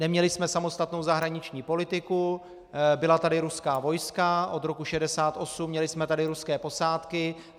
Neměli jsme samostatnou zahraniční politiku, byla tady ruská vojska od roku 1968, měli jsme tady ruské posádky.